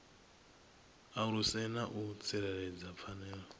aluse na u tsireledza pfanelo